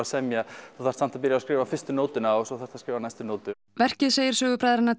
semja þú þarft samt að byrja á að skrifa fyrstu nótuna og svo þarftu að skrifa næstu nótu verkið segir sögu bræðranna